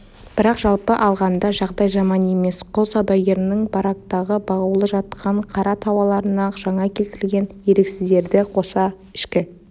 бірақ жалпы алғанда жағдай жаман емес құл саудагерінің барактағы бағулы жатқан қара тауарларына жаңа келтірілген еріксіздерді қосса ішкі